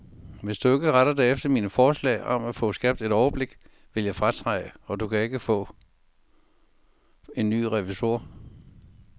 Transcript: Hvis du ikke retter dig efter mine forslag om at få skabt et overblik, vil jeg fratræde, og du kan ikke få en ny revisor.